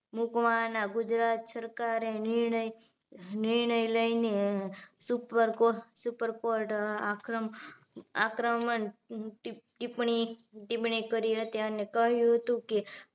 મૂકવાના ગુજરાત સરકારે નિર્ણય નિર્ણય લઈને super coart super coart આક્ર આક્રમણ ટિપ્પણી ટિપ્પણી કરી હતી અને કહ્યું હતું કે